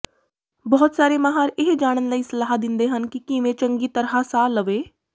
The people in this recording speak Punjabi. ਬਹੁਤ ਸਾਰੇ ਮਾਹਰ ਇਹ ਜਾਣਨ ਲਈ ਸਲਾਹ ਦਿੰਦੇ ਹਨ ਕਿ ਕਿਵੇਂ ਚੰਗੀ ਤਰ੍ਹਾਂ ਸਾਹ ਲਵੇ